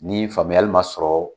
Ni faamuyali ma sɔrɔ,